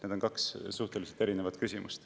Need on kaks erinevat küsimust.